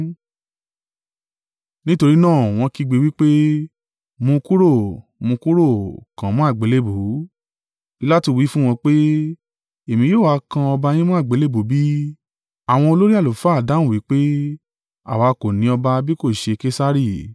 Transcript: Nítorí náà wọ́n kígbe wí pé, “Mú un kúrò, mú un kúrò. Kàn án mọ́ àgbélébùú.” Pilatu wí fún wọn pé, “Èmi yóò ha kan ọba yín mọ́ àgbélébùú bí?” Àwọn olórí àlùfáà dáhùn wí pé, “Àwa kò ní ọba bí kò ṣe Kesari.”